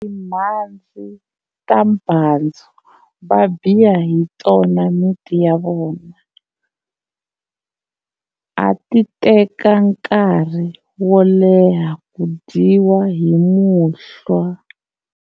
Timhandzi ta mbhandzu va biya hi tona miti ya vona a ti teka nkari wo leha ku dyiwa hi muhlwa.